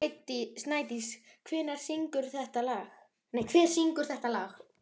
Snædís, hver syngur þetta lag?